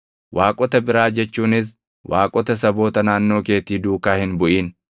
Waaqota biraa jechuunis waaqota saboota naannoo keetii duukaa hin buʼin;